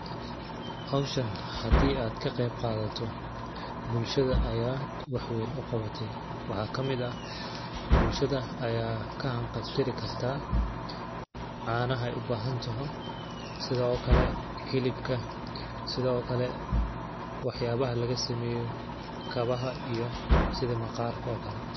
Hawshan hadii aad ka qeyb qaadato bulshada ayaad wax weyn u qawatay ,waxaa kamid ah bulshada ayaad ka han qab tiri kartaa caanaha ay u baahan taho ,sidoo kale hilibka ,sidoo kale waxyaabaha laga sameeyo kabaha iyo sidi maqaarka oo kale